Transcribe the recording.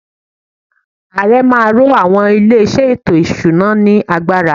Ààrẹ má a ro àwọn ilé-iṣẹ́ ètò-ìṣúná ” ní agbára.